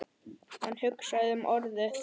Hann hugsaði um Urði.